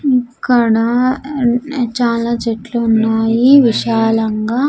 ఇక్కడ చాలా చెట్లు ఉన్నాయి విశాలంగా.